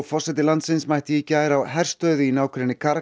forseti landsins mætti í gær á herstöð í nágrenni